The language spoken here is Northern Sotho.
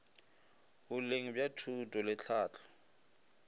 boleng bja thuto le tlhahlo